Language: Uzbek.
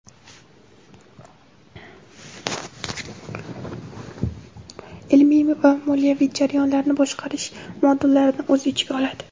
"Ilmiy" va "Moliyaviy" jarayonlarini boshqarish modullarini o‘z ichiga oladi.